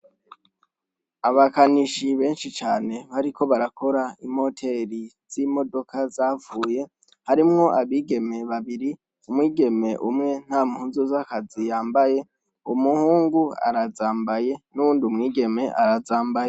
Abakanishi benshi cane bariko barakora imoteri z'imodoka zapfuye, harimwo abigeme babiri, umwigeme umwe nta mpuzu z'akazi yambaye, umuhungu arazambaye n'uwundi mwigeme arazambaye.